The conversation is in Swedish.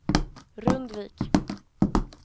Rundvik